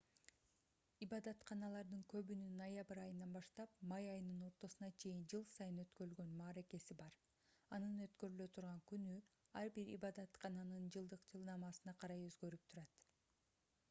ибадатканалардын көбүнүн ноябрь айынан баштап май айынын ортосуна чейин жыл сайын өткөрүлгөн мааракеси бар анын өткөрүлө турган күнү ар бир ибадаткананын жылдык жылнаамасына карай өзгөрүп турат